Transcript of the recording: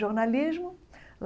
jornalismo.